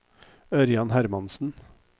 Ørjan Hermansen